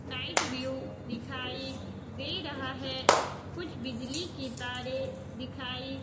night view दिखाई दे रहा है कुछ बिजली की तारें दिखाई--